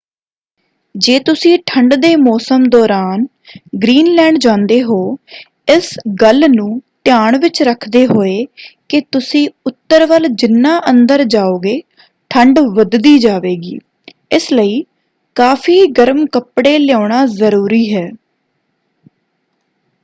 ਜੇ ਤੁਸੀਂ ਠੰਡ ਦੇ ਮੌਸਮ ਦੌਰਾਨ ਗ੍ਰੀਨਲੈਂਡ ਜਾਂਦੇ ਹੋ ਇਸ ਗੱਲ ਨੂੰ ਧਿਆਨ ਵਿੱਚ ਰੱਖਦੇ ਹੋਏ ਕਿ ਤੁਸੀਂ ਉੱਤਰ ਵੱਲ ਜਿਨ੍ਹਾਂ ਅੰਦਰ ਜਾਉਂਗੇ ਠੰਡ ਵੱਧਦੀ ਜਾਵੇਗੀ ਇਸ ਲਈ ਕਾਫ਼ੀ ਗਰਮ ਕੱਪੜੇ ਲਿਆਉਣਾ ਜ਼ਰੂਰੀ ਹੈ।